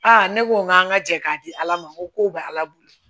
ne ko n k'an ka jɛ k'a di ala ma n ko b' ala bolo